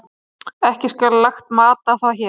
Ekki skal lagt mat á það hér.